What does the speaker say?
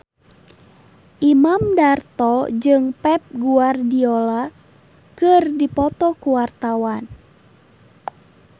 Imam Darto jeung Pep Guardiola keur dipoto ku wartawan